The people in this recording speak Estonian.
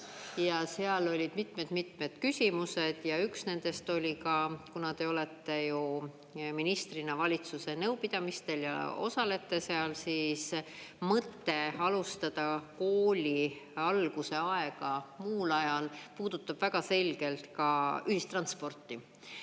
Seal olid mitmed küsimused ja üks nendest oli ka, kuna te olete ju ministrina valitsuse nõupidamistel ja osalete seal, siis mõte alustada kooli alguse aega muul ajal puudutab väga selgelt ka ühistransporti.